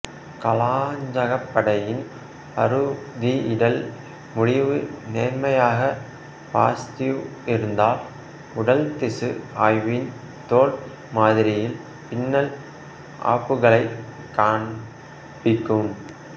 காளாஞ்சகப்படையின் அறுதியிடல் முடிவு நேர்மறையாக பாசிட்டிவ் இருந்தால் உடல் திசு ஆய்வுவின் தோல் மாதிரியில் பின்னல் ஆப்புகளைக் காண்பிக்கும்